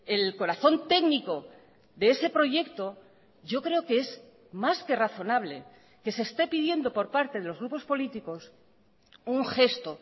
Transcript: el corazón técnico de ese proyecto yo creo que es más que razonable que se esté pidiendo por parte de los grupos políticos un gesto